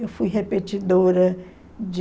Eu fui repetidora de...